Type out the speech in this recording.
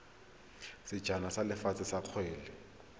sejana sa lefatshe sa kgwele